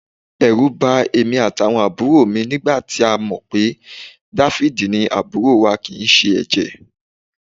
Ẹ̀rù bà èmi àtàwọn àbúrò mi nígbà tá a mọ̀ pé Dáfídì ni àbúrò wa kì í ṣe ẹ̀jẹ̀